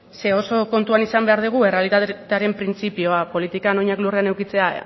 zeren oso kontuan eduki behar dugu errealitatearen printzipioa politikan oinak lurrean edukitzea